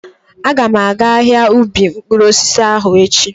Aga m aga ahia ubi mkpụrụ osisi ahụ echi.